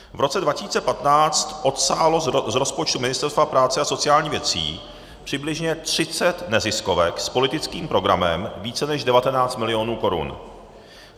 V roce 2015 odsálo z rozpočtu Ministerstva práce a sociálních věcí přibližně 30 neziskovek s politickým programem více než 19 milionů korun.